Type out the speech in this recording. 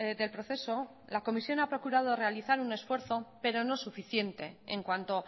del proceso la comisión ha procurado realizar un esfuerzo pero no suficiente en cuanto